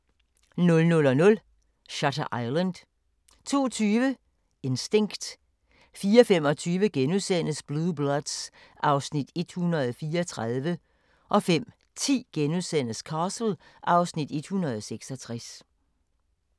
00:00: Shutter Island 02:20: Instinct 04:25: Blue Bloods (Afs. 134)* 05:10: Castle (Afs. 166)*